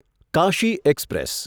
Kashi express